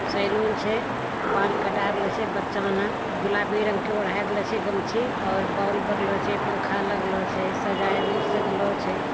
सैलून छे बाल कटा रेले छे बच्चा ओने गुलाबी रंग के ओढ़ा दिला छे गमछी और बॉल बरलो छे पंखा लागलो छे सजाये र सजलो छे |